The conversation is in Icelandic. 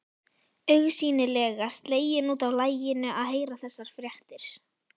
Augsýnilega slegin út af laginu að heyra þessar fréttir.